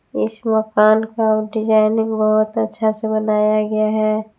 इस मकान का डिजाइनिंग बहोत अच्छा से बनाया गया है।